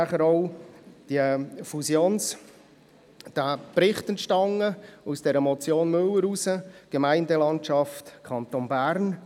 Aufgrund der Motion Müller entstand denn auch der Bericht «Zukunft Gemeindelandschaft Kanton Bern».